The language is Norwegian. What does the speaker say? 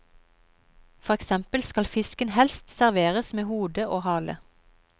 For eksempel skal fisken helst serveres med hode og hale.